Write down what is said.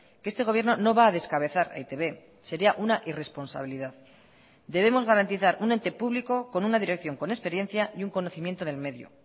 que este gobierno no va a descabezar a e i te be sería una irresponsabilidad debemos garantizar un ente público con una dirección con experiencia y un conocimiento del medio